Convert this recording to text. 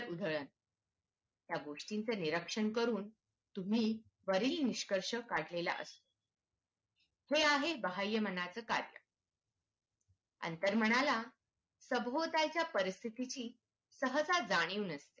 या गोष्टी चे निरीक्षण करून तुम्ही वरील निष्कर्ष काढले ला असतो हे आहे बाहय मानाचं कार्य अंतर्मनाला सभोवतालचा परिस्थितीची सहसा जाणीव नसते